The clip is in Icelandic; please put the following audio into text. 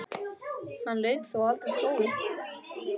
Hann lauk þó aldrei prófi.